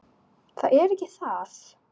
Það er ekki það.